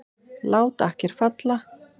Lát akker falla!